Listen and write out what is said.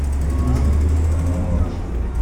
найди на смотрешке канал малыш тв